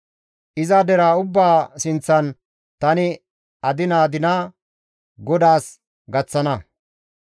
Iza deraa ubbaa sinththan tani adinida adina GODAAS gaththana.